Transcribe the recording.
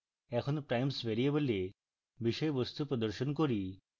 এখন primes ভ্যারিয়েবলে বিষয়বস্তু প্রদর্শন করি